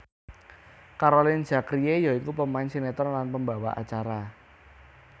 Caroline Zachrie ya iku pemain sinetron lan pembawa acara